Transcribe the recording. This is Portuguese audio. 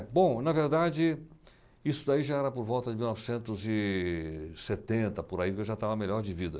bom, na verdade, isso daí já era por volta de novecentos e setenta, por aí, porque eu já estava melhor de vida.